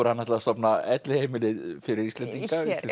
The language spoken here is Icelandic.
hann ætlaði að stofna elliheimili fyrir Íslending